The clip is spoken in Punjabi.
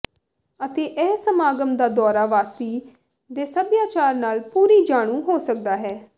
ਅਤੇ ਇਹ ਸਮਾਗਮ ਦਾ ਦੌਰਾ ਵਾਸੀ ਦੇ ਸਭਿਆਚਾਰ ਨਾਲ ਪੂਰੀ ਜਾਣੂ ਹੋ ਸਕਦਾ ਹੈ